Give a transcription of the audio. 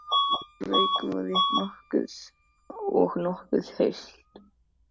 Gólf úr rekaviði og nokkuð heilt.